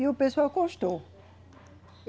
E o pessoal gostou.